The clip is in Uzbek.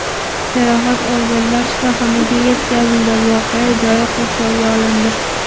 Jarohat olganlar shifoxonaga yetkazildi, voqea joyi qurshovga olindi.